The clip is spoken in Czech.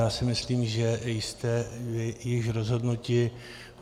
Já si myslím, že jste již rozhodnuti.